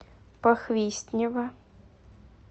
похвистнево